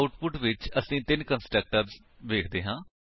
output ਵਿੱਚ ਅਸੀ ਤਿੰਨ ਕੰਸਟਰਕਟਰਸ ਵੇਖਦੇ ਹਾਂ